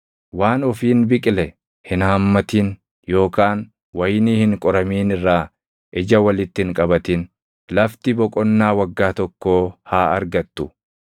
Waan ofiin biqile hin haammatin yookaan wayinii hin qoramin irraa ija walitti hin qabatin. Lafti boqonnaa waggaa tokkoo haa argattu.